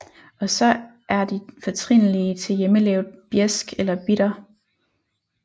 Og så er de fortrinlige til hjemmelavet bjæsk eller bitter